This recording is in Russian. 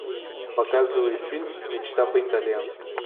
показывай фильм мечта по итальянски